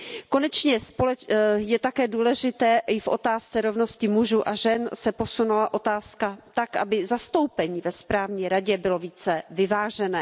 Konečně je také důležité i v otázce rovnosti mužů a žen, aby se posunula otázka tak, aby zastoupení ve správní radě bylo více vyvážené.